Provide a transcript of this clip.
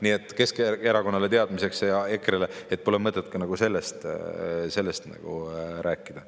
Nii et Keskerakonnale ja EKRE-le teadmiseks, et pole nagu mõtet sellest rääkida.